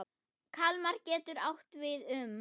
Kalmar getur átt við um